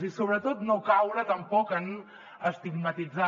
i sobretot no caure tampoc en estigmatitzar